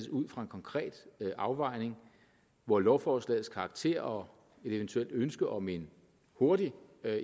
ud fra en konkret afvejning hvor lovforslagets karakter og et eventuelt ønske om en hurtig